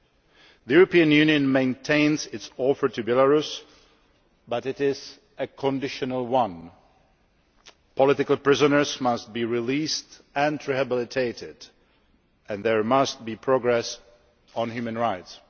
The European Union maintains its offer to Belarus but it is a conditional one. Political prisoners must be released and rehabilitated and there must be progress on human rights.